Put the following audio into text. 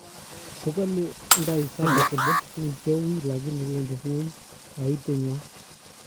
kokale Ndayisaba kole mi che uy lakini wendi ngony kaitet nywa